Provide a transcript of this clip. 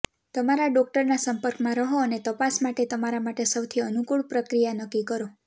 તમારા ડોક્ટરના સંપર્કમાં રહો અને તપાસ માટે તમારા માટે સૌથી અનૂકુળ પ્રક્રિયા નક્કી કરો